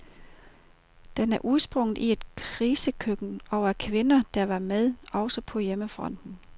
Den er udsprunget i et krisekøkken og af kvinder, der var med, også på hjemmefronten.